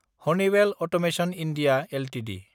Honeywell automation India Ltd